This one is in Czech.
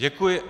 Děkuji.